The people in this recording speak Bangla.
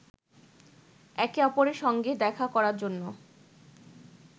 একে অপরের সঙ্গে দেখা করার জন্য